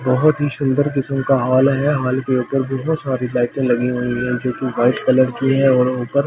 बहुत ही सुंदर किसम का हॉल है हॉल के ऊपर बहुत सारी लाइटें लगी हुई है जो कि ब्‍हाईट कलर की है और ऊपर सीलिंग --